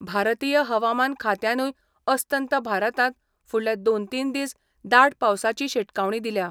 भारतीय हवामान खात्यानूय अस्तंत भारतांत फुडले दोन तीन दीस दाट पावसाची शिटकावणी दिल्या.